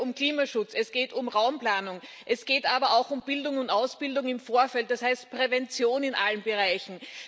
Es geht hier um Klimaschutz, es geht um Raumplanung, es geht aber auch um Bildung und Ausbildung im Vorfeld das heißt Prävention in allen Bereichen.